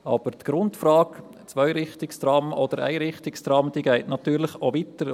Aber die Grundfrage, ob Ein- oder Zweirichtungstrams, führt natürlich weiter.